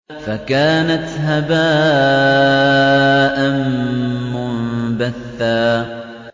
فَكَانَتْ هَبَاءً مُّنبَثًّا